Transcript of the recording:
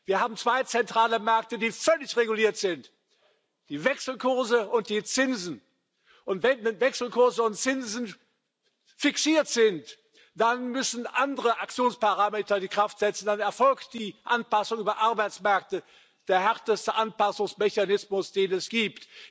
Wir haben zwei zentrale Märkte, die völlig reguliert sind die Wechselkurse und die Zinsen. Und wenn die Wechselkurse und die Zinsen fixiert sind, dann müssen andere Aktionsparameter die Kraft setzen, dann erfolgt die Anpassung über Arbeitsmärkte der härteste Anpassungsmechanismus, den es gibt.